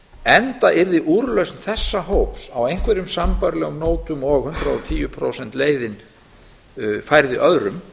enda yrði úrlausn þessa hóps á einhverjum sambærilegum nótum og hundrað og tíu prósenta leiðin færð öðrum